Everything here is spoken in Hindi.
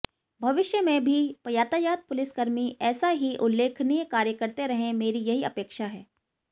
भविष्य में भी यातायात पुलिसकर्मी ऎसा ही उल्लेखनीय कार्य करते रहे मेरी यही अपेक्षा है